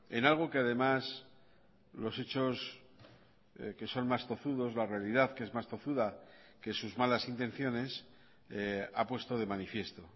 en algo que además los hechos que son más tozudos la realidad que es más tozuda que sus malas intenciones ha puesto de manifiesto